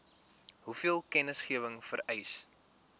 hoeveel kennisgewing vereis